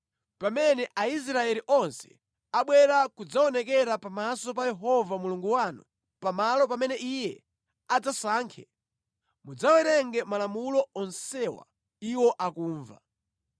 pamene Aisraeli onse abwera kudzaonekera pamaso pa Yehova Mulungu wanu pamalo pamene Iye adzasankhe, mudzawerenge malamulo onsewa iwo akumva.